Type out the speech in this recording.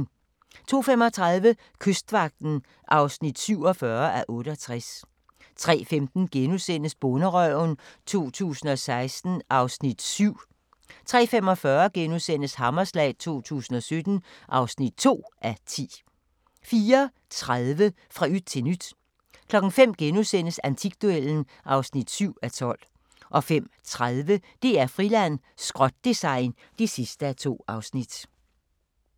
02:35: Kystvagten (47:68) 03:15: Bonderøven 2016 (7:10)* 03:45: Hammerslag 2017 (2:10)* 04:30: Fra yt til nyt 05:00: Antikduellen (7:12)* 05:30: DR-Friland: Skrot-design (2:2)